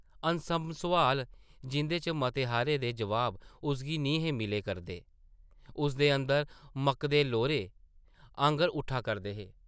अनसंभ सोआल, जिंʼदे चा मते हारें दे जवाब उसगी निं हे मिला करदे, उसदे अंदर मकदे लोरें आंगर उट्ठा करदे हे ।